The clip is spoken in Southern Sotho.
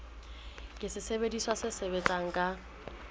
ke sesebediswa se sebetsang ka